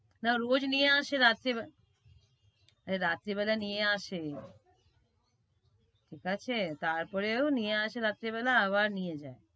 না রোজ নিয়ে আসে রাত্রিবে~আরে রাত্রিবেলা নিয়ে আসে। ঠিকাছে তারপরেও নিয়ে আসে রাত্রিবেলা আবার নিয়ে যায়।